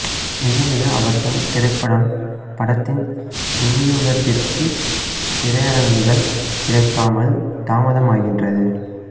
மிக மிக அவசரம் திரைப்படம் படத்தின் விநியோகத்திற்குத் திரையரங்குகள் கிடைக்காமல் தாமதமாகின்றது